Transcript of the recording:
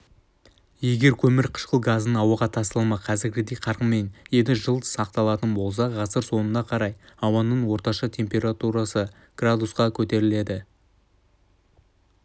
егер көмір қышқыл газының ауаға тасталымы қазіргідей қарқынмен енді жыл сақталатын болса ғасыр соңына қарай ауаның орташа температурасы с-қа көтеріледі